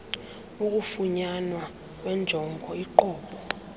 ukufunyanwa kwenjongo inqobo